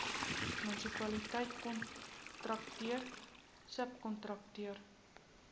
munisipaliteit kontrakteur subkontrakteur